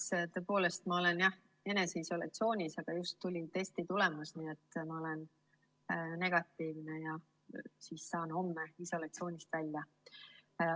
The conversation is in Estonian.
Esiteks tõepoolest, ma olen jah eneseisolatsioonis, aga just tuli testitulemus, olen negatiivne ja saan homme isolatsioonist välja.